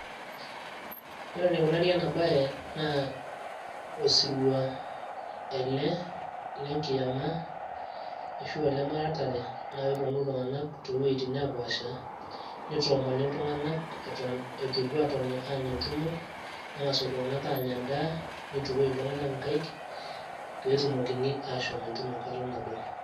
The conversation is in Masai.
ore enekunari ena bae, naa osirua ele, lenkiyama ashu aa lemuratare, naa kepuonu iltung'anak too wuejitin naapaasha, nitoomoni iltung'anak eton eitu aapuo aanya entumo. neng'as iltunganak aatoni anya edaa. nitukui iltung'anak inkaik, pee etumokini aashom entumo enkata nabo.